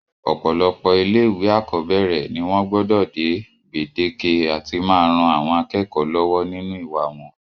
ọ̀pọ̀lọpọ̀ ilé ìwé àkọ́bẹ̀rẹ̀ ni wọ́n gbọdọ̀ dé gbèdéke àti máa ran àwọn akẹ́kọ̀ọ́ lọ́wọ́ nínú ìwà wọn